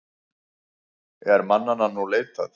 Er mannanna nú leitað.